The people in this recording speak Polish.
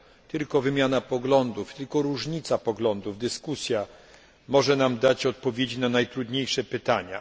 Tylko wymiana poglądów, tylko różnica poglądów, dyskusja może nam dać odpowiedzi na najtrudniejsze pytania.